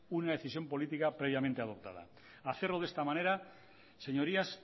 una decisión política previamente adoptada hacerlo de esta manera señorías